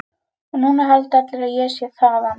Og núna halda allir að ég sé þaðan.